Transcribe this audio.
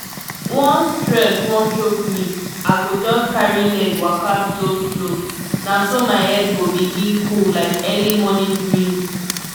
once stress wan choke me i go just carry leg waka slow-slow na so my head go begin cool like early morning breeze.